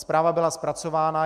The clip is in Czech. Zpráva byla zpracována.